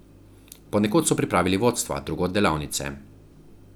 Ponekod so pripravili vodstva, drugod delavnice.